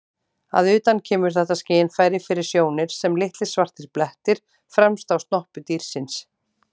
Að utan kemur þetta skynfæri fyrir sjónir sem litlir svartir blettir fremst á snoppu dýrsins.